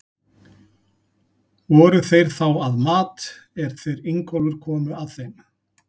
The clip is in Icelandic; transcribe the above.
Voru þeir þá að mat, er þeir Ingólfur komu að þeim.